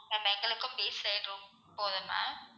ma'am எங்களுக்கும் beach side room போதும் ma'am